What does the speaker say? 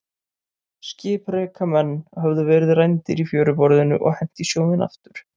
Skipreika menn höfðu verið rændir í fjöruborðinu og hent í sjóinn aftur.